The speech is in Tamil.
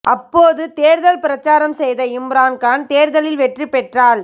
அப்போது தேர்தல் பிரசாரம் செய்த இம்ரான் கான் தேர்தலில் வெற்றி பெற்றால்